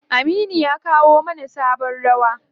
Aminu ya kowa mana sabon rawa.